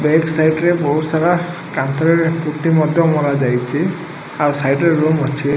Pant side ରେ ବହୁତ୍ ସାରା କାନ୍ଥରେ ପୁଟି ମଧ୍ୟ ମରା ଯାଇଚି ଆଉ ସାଇଟ ରେ ରୁମ୍ ଅଛି।